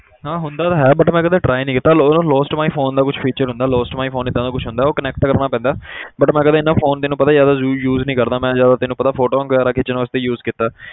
ਹਾਂ ਹੁੰਦਾ ਤਾਂ ਹੈ but ਮੈਂ ਕਦੇ try ਨੀ ਕੀਤਾ ਲੋ~ lost my phone ਦਾ ਕੁਛ feature ਹੁੰਦਾ lost my phone ਏਦਾਂ ਦਾ ਕੁਛ ਹੁੰਦਾ, ਉਹ connect ਕਰਨਾ ਪੈਂਦਾ but ਮੈਂ ਕਦੇ phone ਤੈਨੂੰ ਪਤਾ ਜ਼ਿਆਦਾ ਯੂ~ use ਨੀ ਕਰਦਾ, ਮੈਂ ਜ਼ਿਆਦਾ ਤੈਨੂੰ ਪਤਾ photos ਵਗ਼ੈਰਾ ਖਿੱਚਣ ਵਾਸਤੇ use ਕੀਤਾ ਹੈ।